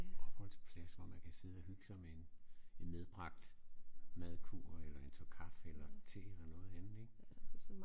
Opholdsplads hvor man kan sidde og hygge sig med en en medbragt madkurv eller en tår kaffe eller te eller noget andet ik